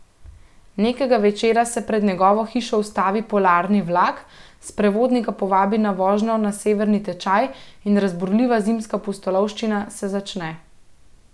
Nekega večera se pred njegovo hišo ustavi polarni vlak, sprevodnik ga povabi na vožnjo na severni tečaj in razburljiva zimska pustolovščina se začne.